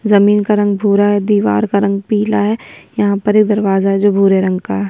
जमीन का रंग भूरा है दीवार का रंग पीला है यहाँ पर दरवाजे जो भूरे रंग का है।